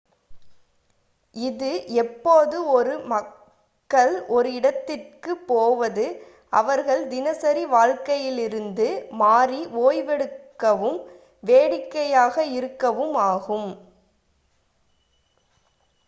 இது எப்போது மக்கள் ஒரு இடத்துக்குப் போவது அவர்கள் தினசரி வாழ்க்கையிலிருந்து மாறி ஓய்வெடுக்கவும் வேடிக்கையாக இருக்கவும் ஆகும்